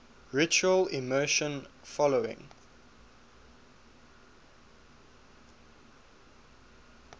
ritual immersion following